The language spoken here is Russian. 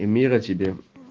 и мира тебе